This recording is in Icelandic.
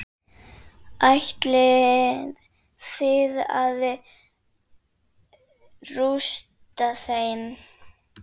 Ætlið þið að rústa þeim?